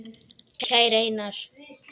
Kæri Einar.